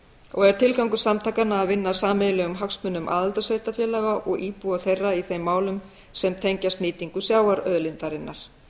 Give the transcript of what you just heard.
og er tilgangur samtakanna að vinna að sameiginlegum hagsmunum aðildarsveitarfélaga og íbúa þeirra í þeim málum sem tengjast nýtingu sjávarauðlindarinnar